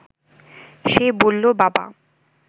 সে বলল, বাবা